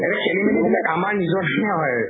সেইটো খেলি মেলি বিলাক আমাৰ নিজস্ব হয়